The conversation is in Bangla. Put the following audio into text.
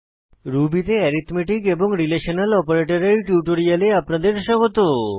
রুবি তে অ্যারিথমেটিক এবং রিলেশনাল অপারেটরের টিউটোরিয়ালে আপনাদের স্বাগত